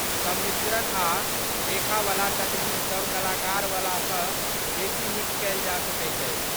सम्मिश्रण आ रेखावला तकनीकसभ कलाकारवलासँ बेसी नीक कयल जा सकैत अछि।